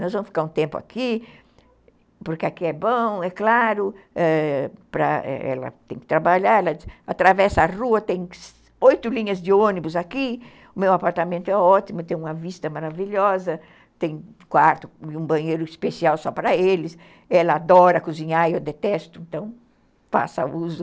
Nós vamos ficar um tempo aqui, porque aqui é bom, é claro, ãh, ela tem que trabalhar, ela atravessa a rua, tem oito linhas de ônibus aqui, o meu apartamento é ótimo, tem uma vista maravilhosa, tem quarto e um banheiro especial só para eles, ela adora cozinhar e eu detesto, então passa o uso...